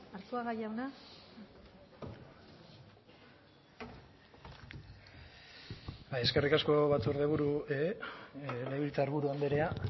arzuaga jauna bai eskerrik asko legebiltzarburu andreak